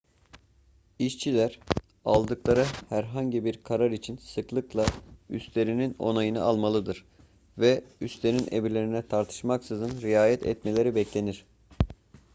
i̇şçiler aldıkları herhangi bir karar için sıklıkla üstlerinin onayını almalıdır ve üstlerinin emirlerine tartışmaksızın riayet etmeleri beklenir